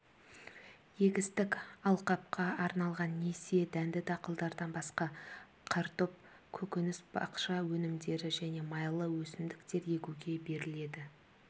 егістік алқапқа арналған несие дәнді дақылдардан басқа картоп көкөніс бақша өнімдері және майлы өсімдіктер егуге беріледі